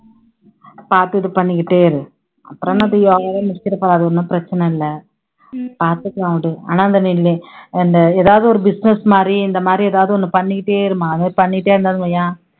பாத்துட்டு பண்ணிக்கிட்டே இரு, அப்பறம் என்ன அவங்கவங்க முடிக்கிறப்ப அது ஓண்ணும் பிரச்சனை இல்ல, பாத்துக்கலாம் விடு ஆனா இந்த எதாவது ஒரு business மாதிரி இந்த மாதிரி எதாவது ஒண்ணு பண்ணிகிட்டே இரு மகா பண்ணிட்டே இருந்தன்னு வைய்யேன்,